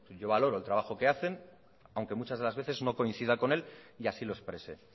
yo valoro el trabajo que hacen aunque muchas de las veces no coincida con él y así lo expresé